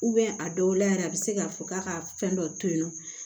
a dɔw la yɛrɛ a bɛ se ka fɔ k'a ka fɛn dɔ to yen nɔ